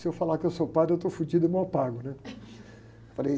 Se eu falar que eu sou padre, eu estou fodido e mal pago, né? Falei...